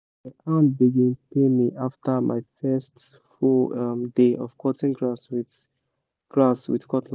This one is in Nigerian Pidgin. my hand begin pain me after my first full um day of cutting grass with grass with cutlass